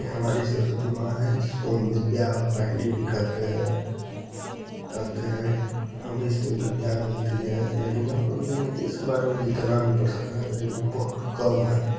ये हमारी सरस्वती मां है जिसको हम विद्या वाहिनी भी कहते है कहते है हमे इससे विद्या मिलती है इसके बारे में जितना प्रशंसा करे उतना कम है।